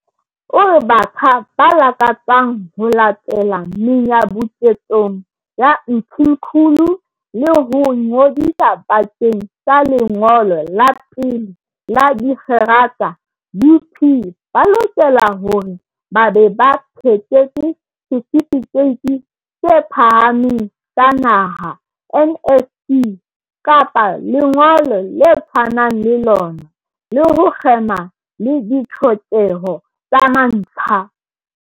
O re batjha ba lakatsang ho latela menyabuketsong ya Mthimkhulu le ho ingodisa bakeng sa lengolo la pele la dikgerata UP ba lokela hore ba be ba phethetse Setifikeiti se Phahameng sa Naha, NSC, kapa lengolo le tshwanang le lona, le ho kgema le ditlhokeho tsa mantlha.